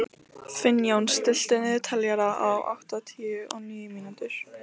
Finnjón, stilltu niðurteljara á áttatíu og níu mínútur.